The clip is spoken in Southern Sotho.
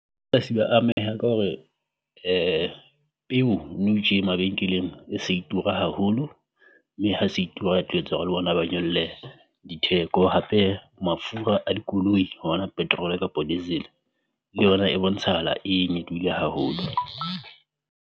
Ba ameha ka hore peu nou tje mabenkeleng e se e tura haholo, mme ha se e tura e etsa hore le bona ba nyolle ditheko. Hape, mafura a dikoloi hona petrol kapo diesel ke yona e bontshahala e nyolohile haholo.